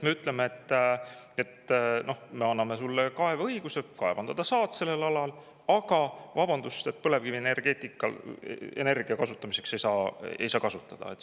Me ütleme, et me anname sulle kaeveõiguse, kaevandada saad sellel alal, aga vabandust, põlevkivienergia ei saa seda kasutada.